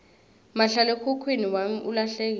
mahlalekhukhwini wami ulahlekile